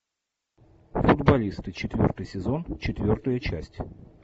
футболисты четвертый сезон четвертая часть